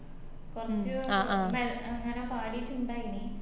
കൊർച് മെ അങ്ങനെ പാടിറ്റിണ്ടായിനി